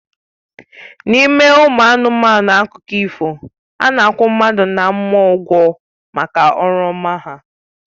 N'ime ụmụ anụmanụ akụkọ ifo, a na-akwụ mmadụ na mmụọ ụgwọ maka ọrụ ọma ha